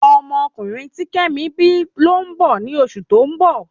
Ọmọ ọkunrin ti kemi bi lo n bọ ni osu to n bọ